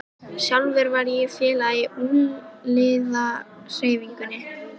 Sjálfur var ég félagi í ungliðahreyfingunni.